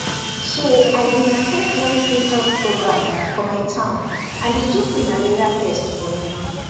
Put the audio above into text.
so i been at ten d one free health program for my town and they do free malaria test for me